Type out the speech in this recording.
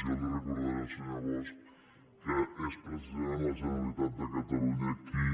jo li recordaré al senyor bosch que és precisa·ment la generalitat de catalunya qui